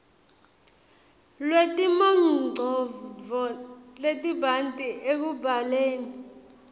lwetimongcondvo letibanti ekubhaleni